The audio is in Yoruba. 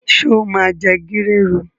Sọ ma jẹ gírèrù?